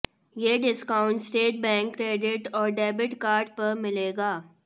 ये discount State Bank credit और debit card पर मिलेगा